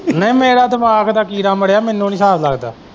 ਨਹੀਂ ਮੇਰਾ ਦਿਮਾਗ ਦਾ ਕੀੜਾ ਮਰਿਆ ਮੈਨੂੰ ਨਹੀਂ ਸਾਬ ਲੱਗਦਾ।